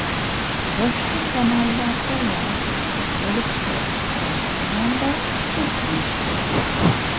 Boshqa kanallardayam chiqib bo‘libdi, birinchi manba shu deyishdi.